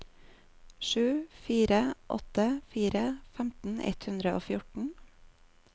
sju fire åtte fire femten ett hundre og fjorten